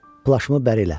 Plaşımı bərilə.